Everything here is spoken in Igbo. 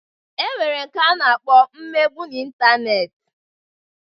E nwere nke a na-akpọ imegbu n'intaneeti.